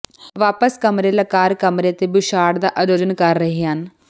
ਵਾਪਸ ਕਮਰੇ ਲਾਕਰ ਕਮਰੇ ਅਤੇ ਬੁਛਾਡ਼ ਦਾ ਆਯੋਜਨ ਕਰ ਰਹੇ ਹਨ